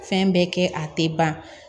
Fɛn bɛɛ kɛ a tɛ ban